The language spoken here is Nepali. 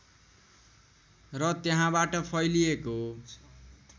र त्यहाँबाट फैलिएको